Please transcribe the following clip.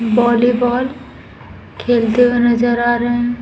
Volley ball खेलते हुए नज़र आ रहे हैं।